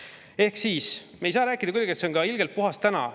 Me ei saa kuidagi ka rääkida, et on ilgelt puhas täna.